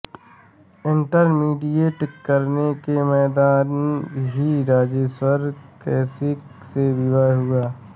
intermediate करने के दौरान ही राजेश्वरी कौशिक से विवाह हुआ